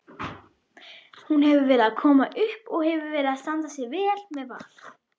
Hún hefur verið að koma upp og hefur verið að standa sig vel með Val.